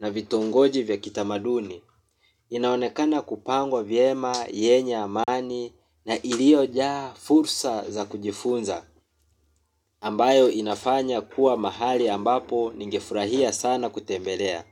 na vitongoji vya kitamaduni. Inaonekana kupangwa vyema, yenye amani na iliojaa fursa za kujifunza ambayo inafanya kuwa mahali ambapo ningefurahia sana kutembelea.